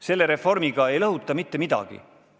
Selle reformiga ei lõhuta mitte midagi.